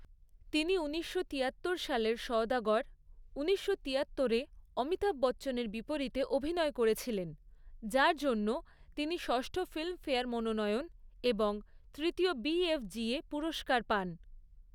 তিনি ঊনিশশো তিয়াত্তর সালের সওদাগর ঊনিশশো তিয়াত্তরে অমিতাভ বচ্চনের বিপরীতে অভিনয় করেছিলেন, যার জন্য তিনি ষষ্ঠ ফিল্মফেয়ার মনোনয়ন এবং তৃতীয় বিএফ্জিএ পুরস্কার পান।